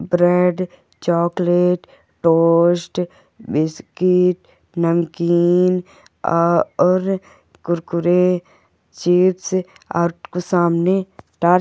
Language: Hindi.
ब्रेड चॉकलेट टोस्ट बिस्किट नमकीन आ और कुरकुरे चिप्स और कुछ सामने--